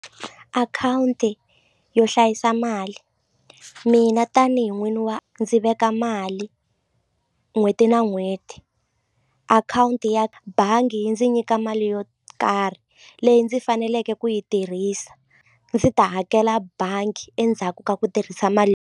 Akhawunti yo hlayisa mali mina tanihi n'wini wa ndzi veka mali n'hweti na n'hweti akhawunti ya bangi yi ndzi nyika mali yo karhi leyi ndzi faneleke ku yi tirhisa ndzi ta hakela bangi endzhaku ka ku tirhisa mali.